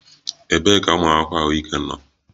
Ebee ka ụmụ akwụkwọ ahụike nọ?